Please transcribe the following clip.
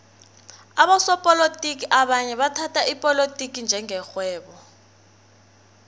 abosopolotiki abanye bathhatha ipolotiki njenge rhwebo